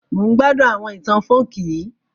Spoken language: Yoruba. Mo n gbádún àwọn itan folk yii